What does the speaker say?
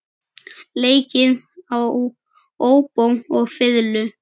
Leikið á óbó og fiðlu.